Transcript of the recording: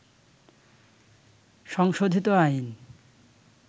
সংশোধিত আইন